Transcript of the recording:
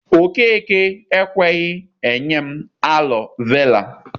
Okeke ekweghị enwe m alọ vera.